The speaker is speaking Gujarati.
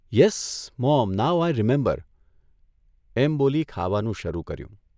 ' Yes, mom now I remember 'એમ બોલી ખાવાનું શરૂ કર્યું.